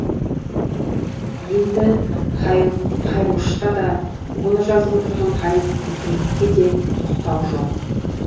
енді қайрошқа да оны жазып отырған ғаби мүсіреповке де тоқтау жоқ